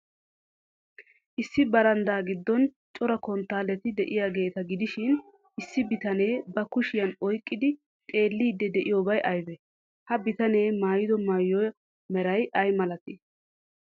Issi baraanddaa giddon cora konttaalleti de'iyaageeta gidishin. Issi bitanee ba kushiyan oyqqidi xeelliiddi de'iyoobay aybee? Ha bitanee maayido maayuwa meray ay malee?